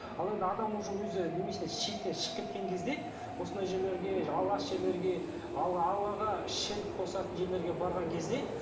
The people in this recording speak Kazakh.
ал енді адам уже өзі шектен шығып кеткен кезде осындай жерлерге жерлерге аллаға ширк қосатын жерлерге барған кезде